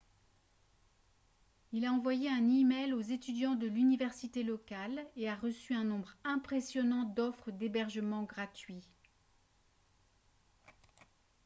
il a envoyé un e-mail aux étudiants de l'université locale et a reçu un nombre impressionnant d'offres d'hébergement gratuit